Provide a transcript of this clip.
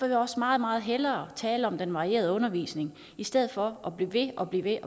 jeg også meget meget hellere tale om den varierede undervisning i stedet for at blive ved og blive ved